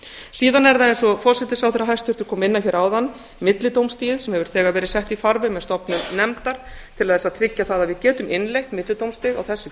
síðan er það eins og hæstvirtur forsætisráðherra kom inn á hér áðan millidómstigið sem hefur verið sett í farveg með stofnun nefndar til að tryggja það að við getum innleitt millidómstig á þessu